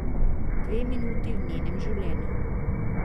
Dve minuti v njenem življenju.